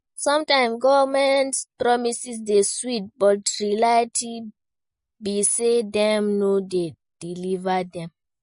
Sometimes government promises dey sweet, but reality be say dem no dey deliver dem.